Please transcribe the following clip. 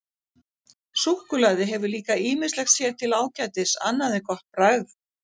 Súkkulaði hefur líka ýmislegt sér til ágætis annað en gott bragð.